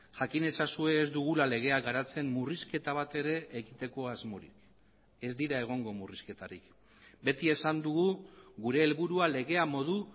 jakin ezazue ez dugula legea garatzen murrizketa batere egiteko asmorik ez dira egongo murrizketarik beti esan dugu gure helburua legea modu